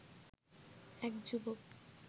এক যুবক